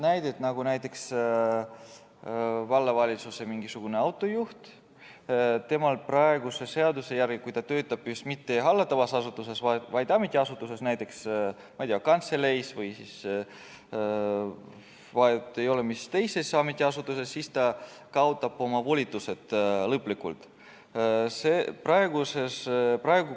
Näiteks, vallavalitsuse autojuht praeguse seaduse järgi, kui ta töötab mitte hallatavas asutuses, vaid ametiasutuses, ma ei tea, kantseleis, vahet ei ole, mis ametiasutuses, kaotab oma volitused lõplikult.